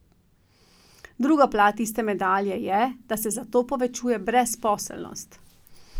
Druga plat iste medalje je, da se zato povečuje brezposelnost.